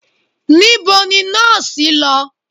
Nibo ni nọọsi lọ?